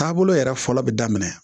Taabolo yɛrɛ fɔlɔ bɛ daminɛ